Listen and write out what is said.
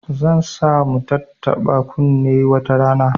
Zan sa mu tattaba kunne wata rana